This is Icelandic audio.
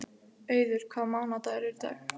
Auður, hvaða mánaðardagur er í dag?